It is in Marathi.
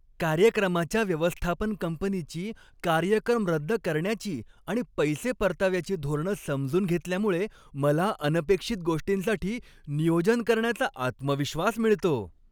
कार्यक्रमाच्या व्यवस्थापन कंपनीची कार्यक्रम रद्द करण्याची आणि पैसे परताव्याची धोरणं समजून घेतल्यामुळे मला अनपेक्षित गोष्टींसाठी नियोजन करण्याचा आत्मविश्वास मिळतो.